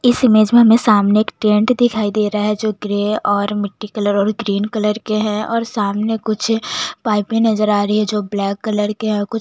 इस इमेज में सामने हमें एक टेंट दिखाई दे रहा है जो ग्रे और मिट्टी कलर और ग्रीन कलर के है और सामने कुछ पाइपे नजर आ रही है जो ब्लैक कलर के है कुछ --